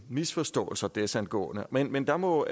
misforståelser desangående men men der må